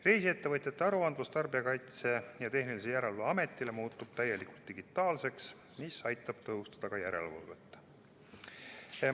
Reisiettevõtjate aruandmine Tarbijakaitse ja Tehnilise Järelevalve Ametile muutub täielikult digitaalseks, mis aitab ka järelevalvet tõhustada.